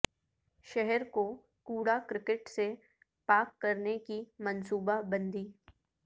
شہرکو کوڑا کرکٹ سے پاک کرنے کی منصوبہ بندی